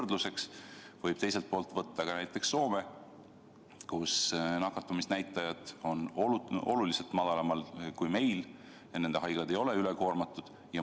Võrdluseks võib võtta näiteks Soome, kus nakatumisnäitajad on oluliselt madalamad kui meil ja nende haiglad ei ole ülekoormatud.